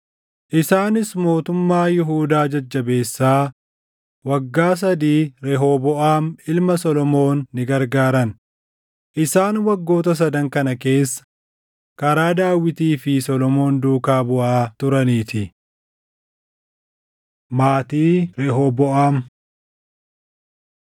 Isaanis mootummaa Yihuudaa jajjabeessaa waggaa sadii Rehooboʼaam ilma Solomoon ni gargaaran; isaan waggoota sadan kana keessa karaa Daawitii fi Solomoon duukaa buʼaa turaniitii. Maatii Rehooboʼaam